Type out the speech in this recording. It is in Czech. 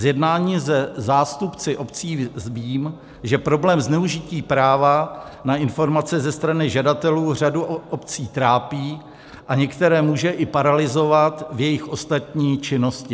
Z jednání se zástupci obcí vím, že problém zneužití práva na informace ze strany žadatelů řadu obcí trápí a některé může i paralyzovat v jejich ostatní činnosti.